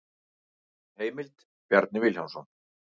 Heimild: Bjarni Vilhjálmsson.